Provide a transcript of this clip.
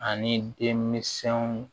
Ani demiɛnw